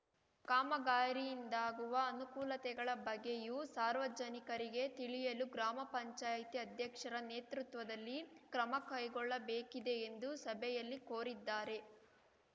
ಕಾಮಗಾರಿಯಿಂದಾಗುವ ಅನುಕೂಲತೆಗಳ ಬಗ್ಗೆಯೂ ಸಾರ್ವಜನಿಕರಿಗೆ ತಿಳಿಸಲು ಗ್ರಾಮ ಪಂಚಾಯಿತಿ ಅಧ್ಯಕ್ಷರ ನೇತೃತ್ವದಲ್ಲಿ ಕ್ರಮ ಕೈಗೊಳ್ಳಬೇಕಿದೆ ಎಂದು ಸಭೆಯಲ್ಲಿ ಕೋರಿದ್ದಾರೆ